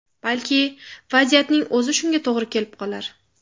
Balki vaziyatning o‘zi shunga to‘g‘ri kelib qolar.